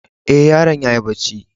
E, yaron ya yi barci.